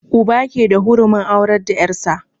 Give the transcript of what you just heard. Uba ke da hurumin aurar da yar' sa.